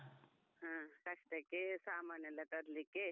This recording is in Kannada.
ಹ ಕಷ್ಟಕ್ಕೆ ಸಾಮಾನೆಲ್ಲ ತರ್ಲಿಕೆ.